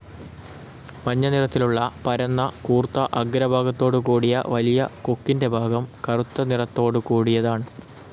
മഞ്ഞ നിറത്തിലുള്ള പരന്ന കൂർത്ത ആഗ്ര ഭാഗത്തോടുകൂടിയ വലിയ കൊക്കിൻ്റെ ഭാഗം കറുത്ത നിറത്തോടുകൂടിയതാണ്.